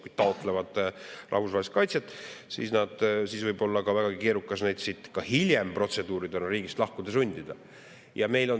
Kui nad taotlevad rahvusvahelist kaitset, siis võib olla vägagi keerukas neid ka hiljem protseduuridega riigist lahkuma sundida.